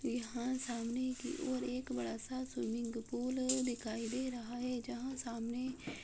यहाँ सामने की ओर एक बड़ा सा स्विमिंग पूल दिखाई दे रहा है जहाँ सामने --